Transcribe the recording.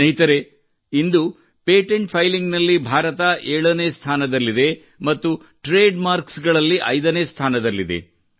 ಸ್ನೇಹಿತರೇ ಇಂದು patent filing ನಲ್ಲಿ ಭಾರತ 7 ನೇ ಸ್ಥಾನದಲ್ಲಿದೆ ಮತ್ತು ವ್ಯಾಪಾರ ಗುರುತಿನಲ್ಲಿ 5 ನೇ ಸ್ಥಾನದಲ್ಲಿದೆ